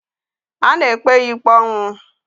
A na-ekpe ya ikpe ọnwụ.